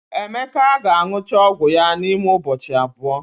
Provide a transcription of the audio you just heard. Emeka ga-aṅụcha ọgwụ ya n'ime ụbọchị abụọ.